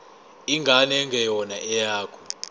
ingane engeyona eyakho